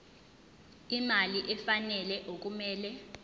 imali efanele okumele